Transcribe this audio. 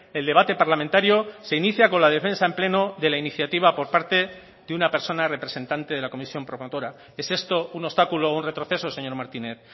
el debate parlamentario se inicia con la defensa en pleno de la iniciativa por parte de una persona representante de la comisión promotora es esto un obstáculo o un retroceso señor martínez